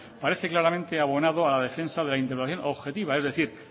parece claramente abonado a la defensa de la interpretación objetiva es decir